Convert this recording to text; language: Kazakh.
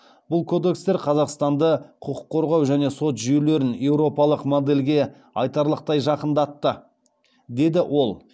бұл кодекстер қазақстанды құқық қорғау және сот жүйелерін еуропалық модельге айтарлықтай жақындатты деді ол